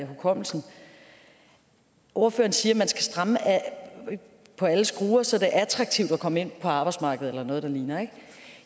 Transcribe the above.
hukommelsen ordføreren siger at man skal stramme på alle skruer så det er attraktivt at komme ind på arbejdsmarkedet eller noget der ligner ikke